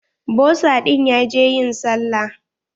Bosa ɗin ya je ƴin sallah.